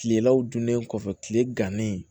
Kilelaw dunnen kɔfɛ tile gannen